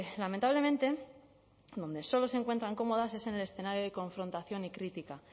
lamentablemente donde solo se encuentran cómodas es en el escenario de confrontación y crítica